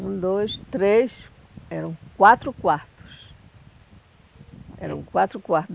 Um, dois, três, eram quatro quartos. Eram quatro quartos.